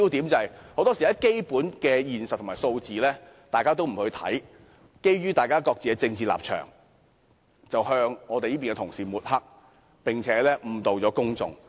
建制派很多時不理會基本實際情況和數字，只是基於政治立場，抹黑反對派的同事，並且誤導公眾。